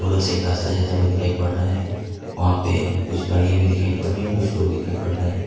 से रास्ता जाता हुआ दिखाई पड़ रहा है वहां पर कुछ गाड़ियां भी दिखाई पड़ रही है कुछ लोग दिखाई पड़ रहे हैं।